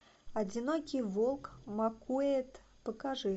одинокий волк маккуэйд покажи